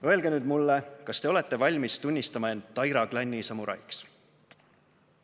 Öelge nüüd mulle – kas te olete valmis tunnistama end Taira klanni samuraiks?"